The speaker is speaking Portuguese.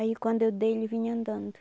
Aí quando eu dei, ele vinha andando.